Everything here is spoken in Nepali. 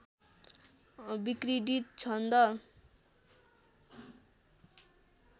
विक्रीडित छन्द